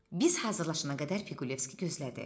Biz hazırlaşana qədər Piqulevski gözlədi.